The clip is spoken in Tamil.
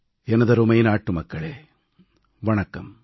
எனதருமை நாட்டு மக்களே வணக்கம்